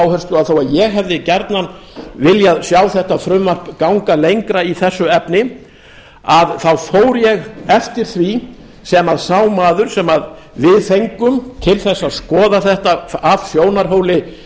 að þó að ég hefði gjarnan viljað sjá þetta frumvarp ganga lengra í þessu efni fór ég eftir því sem sá maður sem við fengum til þess að skoða þetta af sjónarhóli